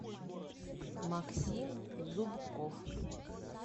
максим зубков